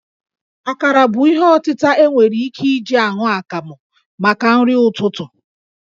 Akarà bụ ihe ọtịta e nwere ike iji aṅụ akamụ maka nrị ụtụtụ